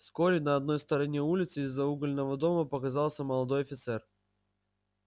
вскоре на одной стороне улицы из-за угольного дома показался молодой офицер